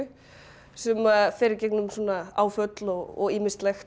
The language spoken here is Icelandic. sem að fer í gegnum áföll og ýmislegt